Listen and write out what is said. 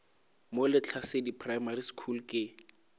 mo lehlasedi primary school ke